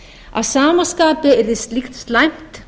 að sama skapi yrði slíkt slæmt